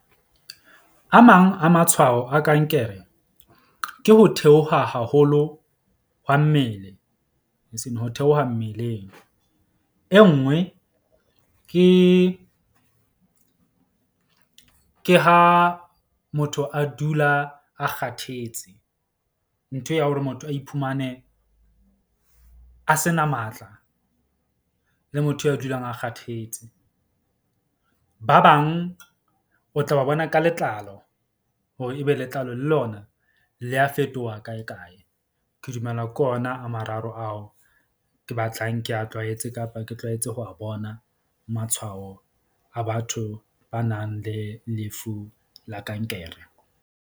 A mang a matshwao a kankere ke ho theoha haholo hwa mmele. Ho theoha mmeleng e nngwe ke ha motho a dula a kgathetse, ntho ya hore motho a iphumane a se na matla le motho ya dulang a kgathetse. Ba bang o tla ba bona ka letlalo hore e be letlalo le lona le a fetoha kae, kae. Ke dumela ke ona a mararo ao ke batlang ke a tlwaetse kapa ke tlwaetse ho a bona matshwao a batho ba nang le lefu la kankere.